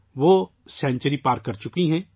وہ ایک سنچری پار کر چکی ہیں